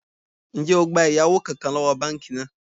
Ńjẹ́ ó gbà ẹ̀yáwó kánkán lọ́wọ́ báànkì náà?